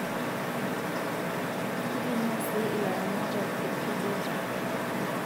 Kitumia sii ilaramatak irkedeta